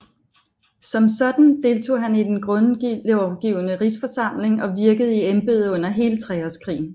Som sådan deltog han i Den Grundlovgivende Rigsforsamling og virkede i embedet under hele Treårskrigen